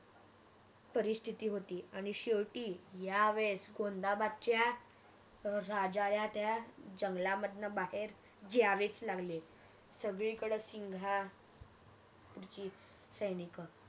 परिस्थिति होती आणि शेवटी यावेळेस गोंदाबादच्या राजाला त्या जंगलामधण बाहेर जावेच लागले सगळीकड सिंगापूरची सैनिक